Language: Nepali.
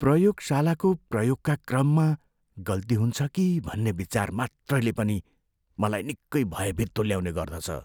प्रयोगशालाको प्रयोगका क्रममा गल्ती हुन्छ कि भन्ने विचार मात्रैले पनि मलाई निकै भयभीत तुल्याउने गर्दछ।